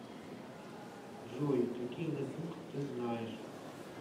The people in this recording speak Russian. джой какие нетбук ты знаешь